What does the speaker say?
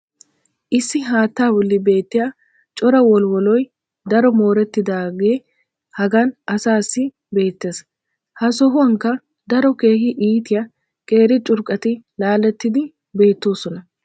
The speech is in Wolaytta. issi haattaa boli beetiya cora wolwwolloy daro moorettidaagee hagan asaassi beetees. ha sohuwankka daro keehi iittiya qeeri curqqati laalettidi beetoosona.